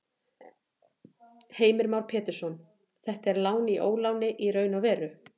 Heimir Már Pétursson: Þetta er lán í óláni í raun og veru?